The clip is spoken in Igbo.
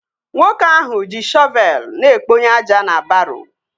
Nwoke ahụ ji shọvelu na-ekponye aja na baroo